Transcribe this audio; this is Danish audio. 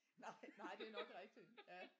Nej nej det er nok rigtigt ja